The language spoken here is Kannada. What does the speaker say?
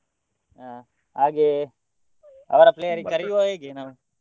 ಹಾ ಹಾಗೆ ಅವರ player ಗೆ ಕರೀವ ಹೇಗೆ ನಾವು?